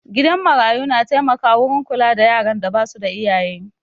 Gidan marayu na taimaka wurin kula da yaran da basu da iyaye